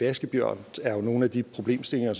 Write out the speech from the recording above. vaskebjørne og nogle af de problemstillinger